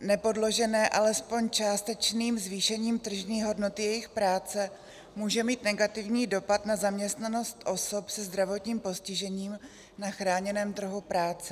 nepodložené alespoň částečným zvýšením tržní hodnoty jejich práce, může mít negativní dopad na zaměstnanost osob se zdravotním postižením na chráněném trhu práce.